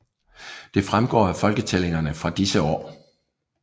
Det fremgår af folketællingerne fra disse år